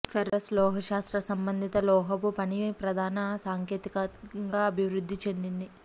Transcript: ferrous లోహశాస్త్ర సంబంధిత లోహపు పని ప్రధాన సాంకేతికతగా అభివృద్ధి చెందింది